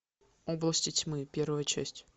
области тьмы первая часть